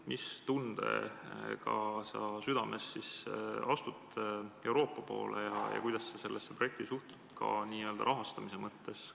Mis tundega südames sa asud Euroopa poole teele ja kuidas sa sellesse projekti rahastamise seisukohalt suhtud?